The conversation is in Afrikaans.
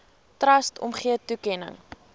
trust omgee toekenning